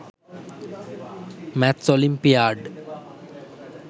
maths olympiad